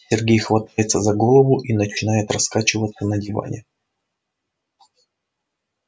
сергей хватается за голову и начинает раскачиваться на диване